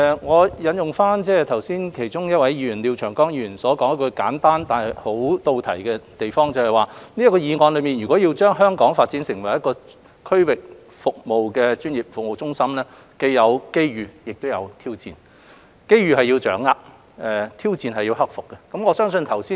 我引用其中一位發言的廖長江議員所提出的一個簡單但切題的意見，就是若要將香港發展成為區域專業服務中心，當中既有機遇，亦有挑戰；機遇是要掌握，挑戰是要克服。